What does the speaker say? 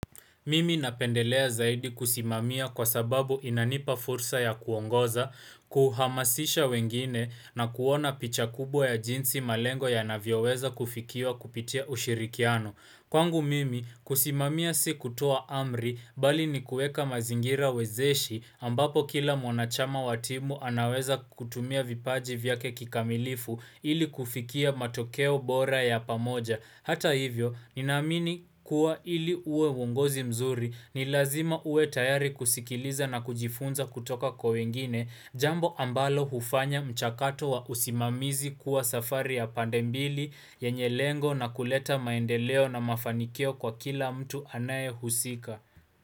Mimi napendelea zaidi kusimamia kwa sababu inanipa fursa ya kuongoza, kuhamasisha wengine na kuona picha kubwa ya jinsi malengo yanavyoweza kufikiwa kupitia ushirikiano. Kwangu mimi, kusimamia si kutua amr, i bali ni kuweka mazingira wezeshi ambapo kila mwanachama wa timu anaweza kutumia vipaji vyake kikamilifu ili kufikia matokeo bora ya pamoja. Hata hivyo, ninamini kuwa ili uwe uwongozi mzuri, ni lazima uwe tayari kusikiliza na kujifunza kutoka kwa wengine, jambo ambalo hufanya mchakato wa usimamizi kuwa safari ya pandembili, yenye lengo na kuleta maendeleo na mafanikio kwa kila mtu anaye husika.